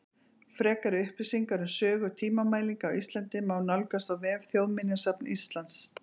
Frekari upplýsingar um sögu tímamælinga á Íslandi má nálgast á vef Þjóðminjasafns Íslands.